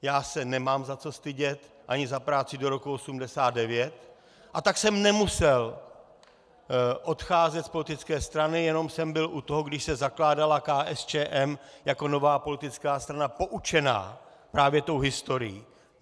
Já se nemám za co stydět, ani za práci do roku 1989, a tak jsem nemusel odcházet z politické strany, jenom jsem byl u toho, když se zakládala KSČM jako nová politická strana poučená právě tou historií.